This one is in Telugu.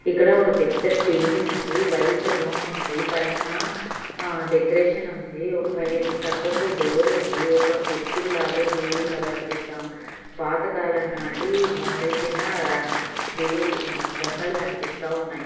ఇక్కడ ఒక పెద్ద టేబుల్ ఉంది వైట్ రూమ్ ఉంది పైన ఆ డెకరేషన్ ఉంది పై-- సక్కకు డోర్ ఉంది ఒక బొద్దుడు లాగా దేవుళలాగా అనిపిస్తా-- పాతకాలం నాటి మోళీచిన దేవు-- బొమ్మలు కనిపిస్తా ఉన్నాయి.